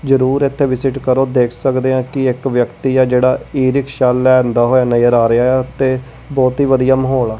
ਜਰੂਰ ਇਥੇ ਵਿਜਿਟ ਕਰੋ ਦੇਖ ਸਕਦੇ ਆ ਕਿ ਇੱਕ ਵਿਅਕਤੀ ਆ ਜਿਹੜਾ ਈ ਰਿਕਸ਼ਾ ਲਿਆਂਦਾ ਹੋਇਆ ਨਜ਼ਰ ਆ ਰਿਹਾ ਆ ਤੇ ਬਹੁਤ ਹੀ ਵਧੀਆ ਮਾਹੌਲ ਆ।